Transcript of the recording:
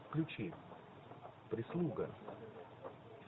включи прислуга